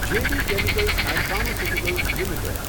જે B chemicals and pharmaceuticals limited